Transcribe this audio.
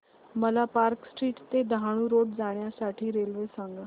मला Park Street ते Dahanu road जाण्या साठी रेल्वे सांगा